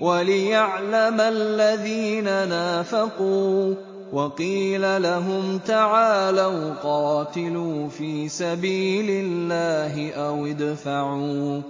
وَلِيَعْلَمَ الَّذِينَ نَافَقُوا ۚ وَقِيلَ لَهُمْ تَعَالَوْا قَاتِلُوا فِي سَبِيلِ اللَّهِ أَوِ ادْفَعُوا ۖ